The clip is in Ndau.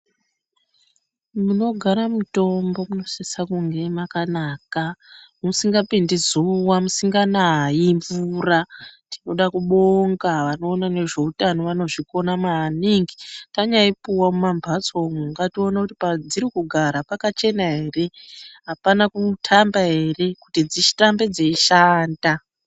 Munogara mutombo munosisa kunge makanaka, musingapindi zuva musinganayi mvura. Tinoda kubonga vanoona nezveutano vanozvikona maningi. Tanyaipuwa mumambotso umu ngatione kuti padziri kugara pakachena here, hapana kutamba here kuti dzirambe dzeishanda.